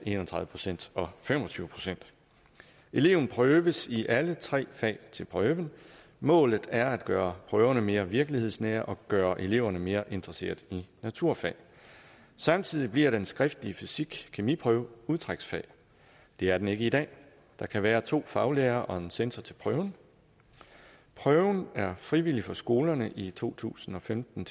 en og tredive procent og fem og tyve procent eleven prøves i alle tre fag til prøven og målet er at gøre prøverne mere virkelighedsnære og gøre eleverne mere interesseret i naturfag samtidig bliver den skriftlige fysikkemi prøve udtræksfag og det er den ikke i dag der kan være to faglærere og en censor til prøven prøven er frivillig for skolerne i to tusind og femten